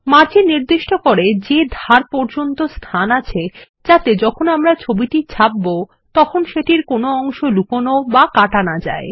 margin নিশ্চিত করে যে ধারে পর্যাপ্ত স্থান থাকে যাতে যখন আমরা ছবিটি ছাপব তখন কোনো একটি অংশ লুকানো বা কাটা না যায়